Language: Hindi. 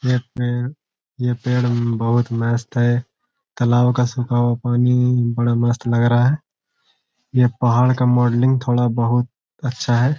यह पेड़ ये पेड़ मम बहुत मस्त है तालाब का सूखा हुआ पानी ईई बड़ा मस्त लग रहा है यह पहाड़ का मॉडलिंग थोड़ा बहुत अच्छा है।